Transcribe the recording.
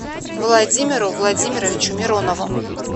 владимиру владимировичу миронову